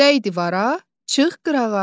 Dəy divara, çıx qırağa.